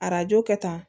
Arajo kɛ tan